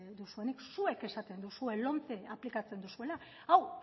duzuenik zuek esaten duzue lomce aplikatzen duzuela hau